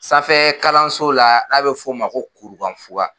Sanfɛ kalanso la n'a be f'o ma ko kurukanfuga